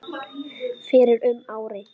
fyrir um ári.